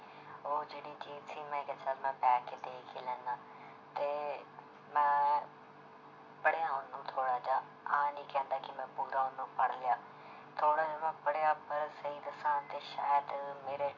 ਉਹ ਜਿਹੜੀ ਚੀਜ਼ ਸੀ ਮੈਂ ਕਿਹਾ ਚੱਲ ਮੈਂ ਬਹਿ ਕੇ ਦੇਖ ਹੀ ਲੈਨਾ ਤੇ ਮੈਂ ਪੜ੍ਹਿਆ ਉਹਨੂੰ ਥੋੜ੍ਹਾ ਜਿਹਾ ਆਹ ਨੀ ਕਹਿੰਦਾ ਕਿ ਮੈਂ ਪੂਰਾ ਉਹਨੂੰ ਪੜ੍ਹ ਲਿਆ ਥੋੜ੍ਹਾ ਜਿਹਾ ਮੈਂ ਪੜ੍ਹਿਆ ਪਰ ਸਹੀ ਦੱਸਾਂ ਤੇ ਸ਼ਾਇਦ ਮੇਰੇ